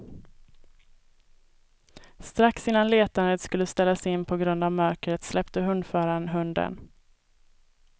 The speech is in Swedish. Strax innan letandet skulle ställas in på grund av mörkret släppte hundföraren hunden.